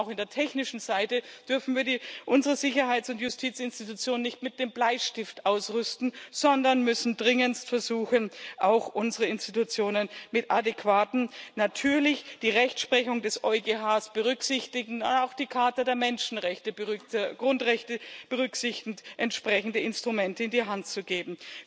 Auch auf der technischen Seite dürfen wir unsere Sicherheits und Justizinstitutionen nicht mit dem Bleistift ausrüsten, sondern müssen dringendst versuchen, auch unseren Institutionen adäquate, natürlich die Rechtsprechung des EuGH berücksichtigende, auch die Charta der Grundrechte berücksichtigende entsprechende Instrumente an die Hand zu geben.